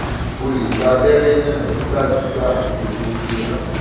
o lè gba abẹrẹ náà nígbàkigbà kí o tó gbéra